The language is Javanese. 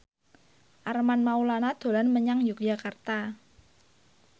Armand Maulana dolan menyang Yogyakarta